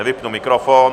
Nevypnu mikrofon.